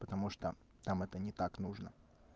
потому что там это не так нужно